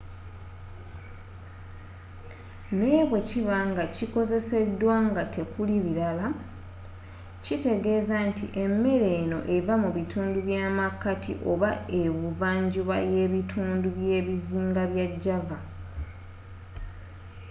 naye bwekiba nga kikozzeseddwa nga tekuli bilala kitegezza nti emere eno eva mu bitundu by'amakati oba ebuvva njuba yebitundu byebizinga bya java